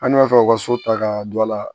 An dun b'a fɛ u ka so ta ka don a la